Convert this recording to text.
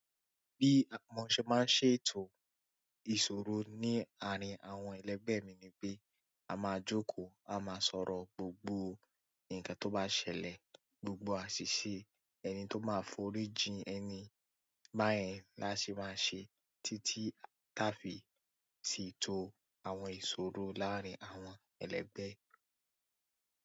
Bí mo ṣe máa ń ṣe ètò ìṣòro ní àárín àwọn ẹlẹ́gbẹ̀ mi ni pé a máa jókòó, a máa sọ̀rọ̀ gbogbo ǹkan tó bá ṣẹlẹ̀, gbogbo àṣìṣe ẹni tó máa forí jìn ẹni, báyẹn la ṣe máa ń ṣe títí táa fi sì ètò àwọn ìṣòro láàárín àwọn ẹlẹgbẹ́.